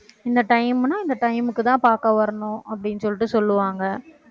இந்த time னா இந்த time க்குதான் பார்க்க வரணும் அப்படின்னு சொல்லிட்டு சொல்லுவாங்க